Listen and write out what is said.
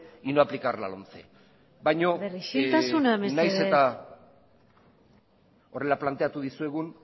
y no aplicar la lomce isiltasuna mesedez baina nahiz eta horrela planteatu dizuegun